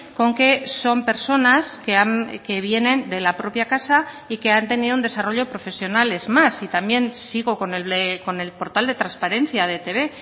con que son personas que vienen de la propia casa y que han tenido un desarrollo profesional es más y también sigo con el portal de transparencia de etb